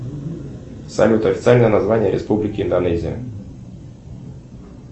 салют официальное название республики индонезия